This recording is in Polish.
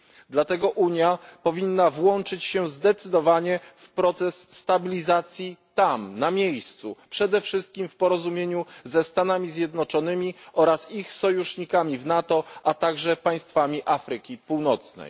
Dlatego Unia powinna włączyć się zdecydowanie w proces stabilizacji tam na miejscu, przede wszystkim w porozumieniu ze Stanami Zjednoczonymi oraz ich sojusznikami w NATO, a także państwami Afryki Północnej.